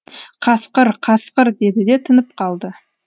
қасқыр қасқыр деді де тынып қалды